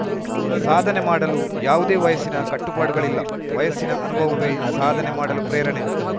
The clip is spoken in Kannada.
ಸಾಧನೆ ಮಾಡಲು ಯಾವುದೇ ವಯಸ್ಸಿನ ಕಟ್ಟುಪಾಡುಗಳಿಲ್ಲ ವಯಸ್ಸಿನ ಅನುಭವವೇ ಸಾಧನೆ ಮಾಡಲು ಪ್ರೇರಣೆ